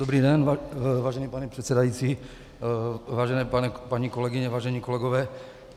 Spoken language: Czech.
Dobrý den, vážený pane předsedající, vážené paní kolegyně, vážení kolegové.